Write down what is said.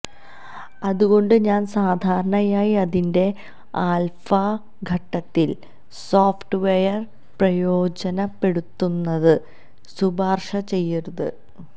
അതുകൊണ്ടു ഞാൻ സാധാരണയായി അതിന്റെ ആൽഫാ ഘട്ടത്തിൽ സോഫ്റ്റ്വെയർ പ്രയോജനപ്പെടുത്തുന്നത് ശുപാർശ ചെയ്യരുത്